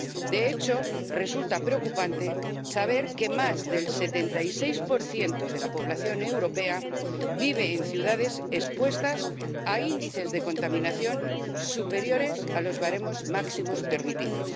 De hecho, resulta preocupante saber que más del 76 de la población europea vive en ciudades expuestas a índices de contaminación superiores a los baremos máximos permitidos.